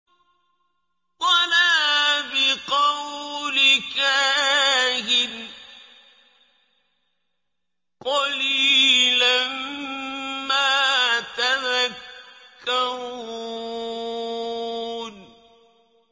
وَلَا بِقَوْلِ كَاهِنٍ ۚ قَلِيلًا مَّا تَذَكَّرُونَ